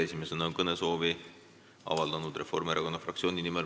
Esimesena on kõnesoovi avaldanud Valdo Randpere Reformierakonna fraktsiooni nimel.